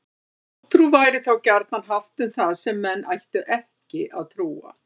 Hjátrú væri þá gjarnan haft um það sem menn ættu ekki að trúa.